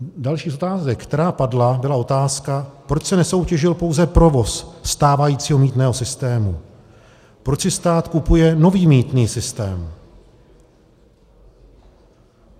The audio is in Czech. Další z otázek, která padla, byla otázka, proč se nesoutěžil pouze provoz stávajícího mýtného systému, proč si stát kupuje nový mýtný systém.